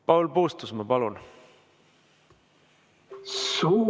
Paul Puustusmaa, palun!